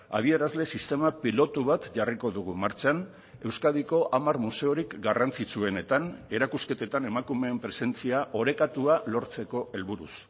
adierazle sistema pilotu bat jarriko dugu martxan euskadiko hamar museorik garrantzitsuenetan erakusketetan emakumeen presentzia orekatua lortzeko helburuz